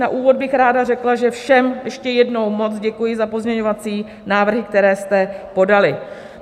Na úvod bych ráda řekla, že všem ještě jednou moc děkuji za pozměňovací návrhy, které jste podali.